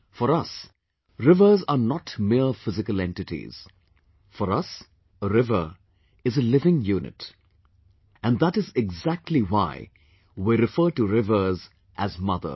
For us, rivers are not mere physical entities; for us a river is a living unit...and that is exactly why we refer to rivers as Mother